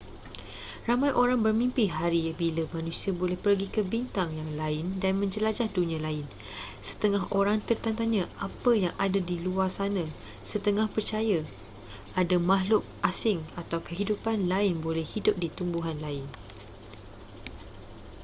ramai orang bermimpi hari bila manusia boleh pergi ke bintang yang lain dan menjelajah dunia lain setengah orang tertanya-tanya apa yang ada di luar sana setengah percaya ada makhluk asing atau kehidupan lain boleh hidup di tumbuhan lain